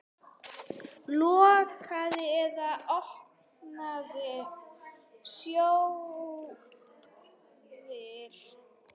Lokaðir eða opnir sjóðir?